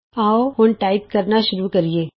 ਆਉ ਹੁਣ ਟਾਈਪ ਕਰਨਾ ਸ਼ੁਰੂ ਕਰੀਏ